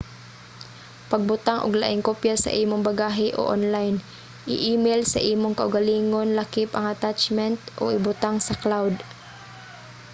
pagbutang og laing kopya sa imong bagahe o onlayn i-email sa imong kaugalingon lakip ang attachment o ibutang sa cloud"